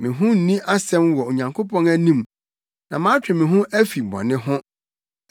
Me ho nni asɛm wɔ Onyankopɔn anim, na matwe me ho afi bɔne ho.